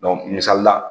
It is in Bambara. misali la